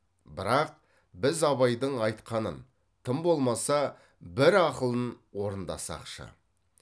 бірақ біз абайдың айтқанын тым болмаса бір ақылын орындасақшы